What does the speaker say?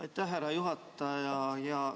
Aitäh, härra juhataja!